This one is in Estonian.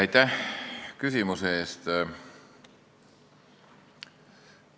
Aitäh küsimuse eest!